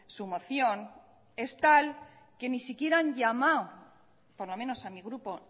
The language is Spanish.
su moción es tal que ni siquiera han llamado por lo menos a mi grupo